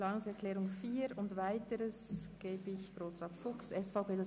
Zur Planungserklärung 4 und den anderen erteile ich Grossrat Fuchs das Wort.